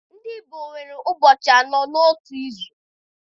Ndị Igbo nwere ụbọchị anọ n'otu izu.